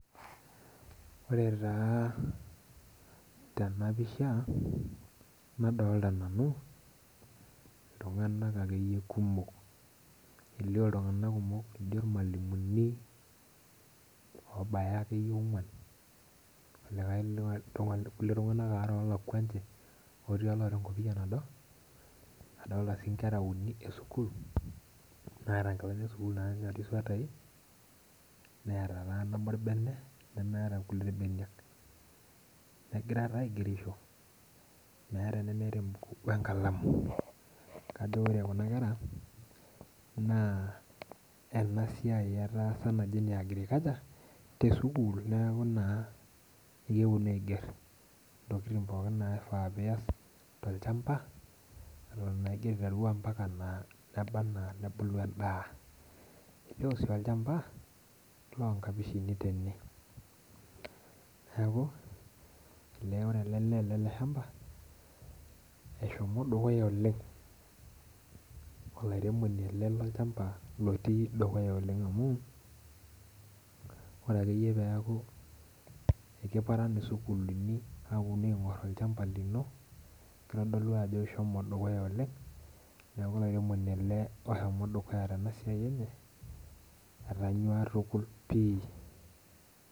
Ore taa tenapisha nadolita nanu iltunganak akeyie kumok, elio ltunganak laa kajo irmalimuni oobaya akeyie oongwan irkulikae tunganak waare olakua ninche otii oloota enkopia nado, nadolita sii nkera uni esukul naanyanyuk swetai neeta taa nabo orbene nemeeta nkulie irbeniak .negira taa aigerisho meeta enemeeta embuku wenkalamu ,kake ore Kuna kera naa esiai etaasa naji ene agriculture tesukul ,neeku naa keponu aiger ntokiting pookin naifaa nias tolchampa eton naa ingira aiteru ometaba enaa nebulu endaa .elio sii olchampa loonkapishini tene neeku ore ele lee lele shampa eshomo dukuya oleng ,olairemoni ele loolchampa otii dukuya oleng amu ore akeyie pee eku ekiparan sukuulini aponu aingor olchampa lino kitodolu ajo ishomo dukuya oleng, neeku olairemoni ele oshomo dukuya tenasiai enye ,etonyua tukul pi.